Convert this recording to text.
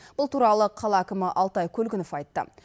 бұл туралы қала әкімі алтай көлгінов айтты